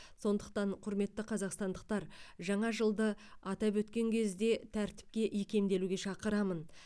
сондықтан құрметті қазақстандықтар жаңа жылды атап өткен кезде тәртіпке икемделуге шақырамын